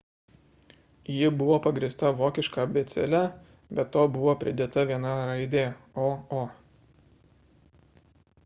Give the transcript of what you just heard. ji buvo pagrįsta vokiška abėcėle be to buvo pridėta viena raidė õ / õ